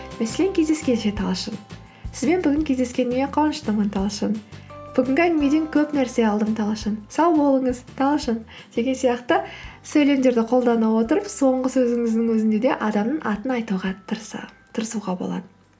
мәселен кездескенше талшын сізбен бүгін кездескеніме қуаныштымын талшын бүгінгі әңгімеден көп нәрсе алдым талшын сау болыңыз талшын деген сияқты сөйлемдерді қолдана отырып соңғы сөзіңіздің өзінде де адамның атын айтуға тырысуға болады